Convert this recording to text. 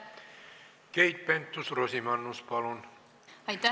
Keit Pentus-Rosimannus, palun!